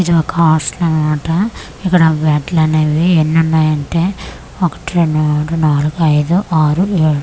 ఇది ఒక హాస్టల్ అనమాట ఇక్కడ బెడ్లనేవి ఎన్నున్నాయంటే ఒకటి రెండు మూడు నాల్గు ఐదు ఆరు ఏడు.